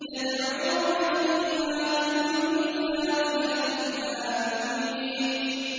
يَدْعُونَ فِيهَا بِكُلِّ فَاكِهَةٍ آمِنِينَ